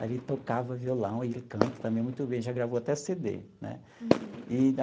Aí ele tocava violão, ele canta também muito bem, já gravou até cê dê, né? Uhum. Eee.